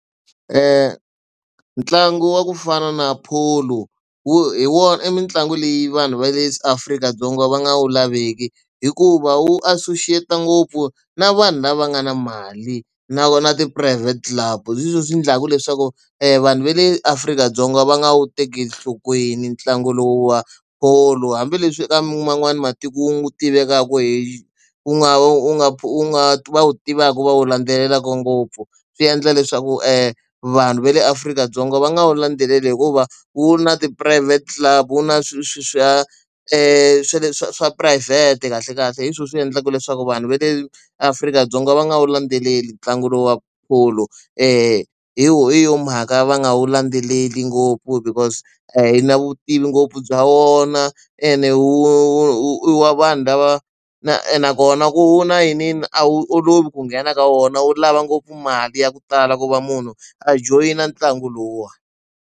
Ntlangu wa ku fana na polo wu hi wona i mitlangu leyi vanhu va le Afrika-Dzonga va nga wu laveki, hikuva wu associate-a ngopfu na vanhu lava nga na mali na na ti private club. Hi swona swi endlaka leswaku vanhu va le Afrika-Dzonga va nga wu tekeli enhlokweni ntlangu lowu wa polo. Hambileswi eka man'wana matiko wu tivekaka hi wu nga wu nga wu nga wu tivaka wu va wu landzelelaka ngopfu, swi endla leswaku vanhu va le Afrika-Dzonga va nga wu landzeleli hikuva wu na tiphurayivhete club, wu na swilo sweswiya swa leswi swa phurayivhete kahlekahle. Hi swona swi endlaka leswaku vanhu va le Afrika-Dzonga va nga wu landzeleli ntlangu lowuwani polo hi yo mhaka va nga wu landzeleli ngopfu because a yi na vutivi ngopfu bya wona, ene i wa vanhu lava na nakona ku wu na yiniyini a wu olovi ku nghena ka wona wu lava ngopfu mali ya ku tala ku va munhu a joyina ntlangu lowuwani.